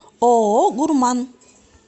ооо гурман